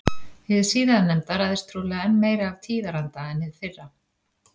Hið síðarnefnda ræðst trúlega enn meira af tíðaranda en hið fyrra.